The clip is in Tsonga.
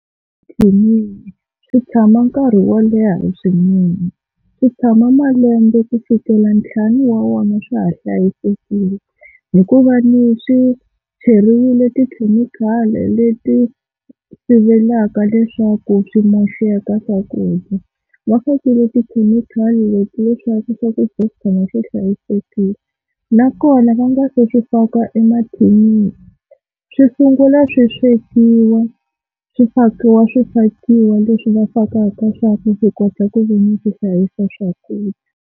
Emathinini swi tshama nkarhi wo leha swinene, swi tshama malembe ku fikela ntlhanu wa wona swa ha hlayisekile hikuva swi cheriwile tikhemikhali leti sivelaka leswaku swi moxeka swakudya. Va fakile tikhemikhali leti leswaku swakudya swi tshama swi hlayisekile nakona va nga se swi faka emathinini swi sungula swi swekiwa swi fakiwa swi fakiwa leswi va fakaka swa ku kota ku veni swi hlayisa swakudya.